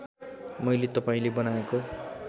मैले तपाईँले बनाएको